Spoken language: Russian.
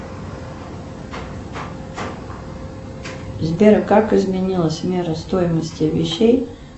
сбер как изменилась мера стоимости вещей